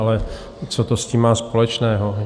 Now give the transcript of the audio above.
Ale co to s tím má společného?